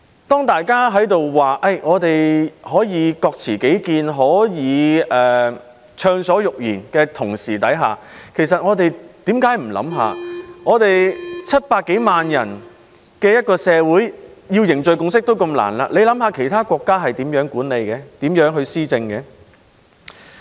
當大家說可以各持己見、暢所欲言的同時，為何不想想只有700多萬人口的社會要凝聚共識也那麼難，那麼其他國家該如何管理和施政呢？